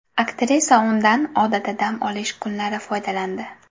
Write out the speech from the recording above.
Aktrisa undan odatda dam olish kunlari foydalandi.